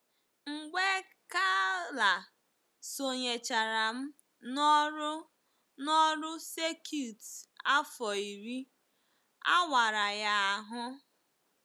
Mgbe Karla sonyechara m n'ọrụ n'ọrụ circuit afọ iri, a wara ya ahụ́.